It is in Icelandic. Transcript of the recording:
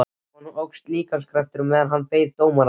Honum óx líkamskraftur meðan hann beið dómarans.